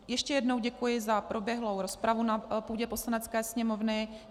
Ještě jednou děkuji za proběhlou rozpravu na půdě Poslanecké sněmovny.